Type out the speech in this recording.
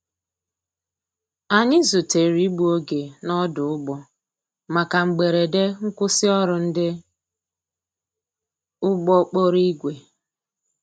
Anyi zutere igbụ oge n' odu‐ụgbọ maka mgberede nkwụsi ọrụ ndi ụgbọ kpọrọ igwe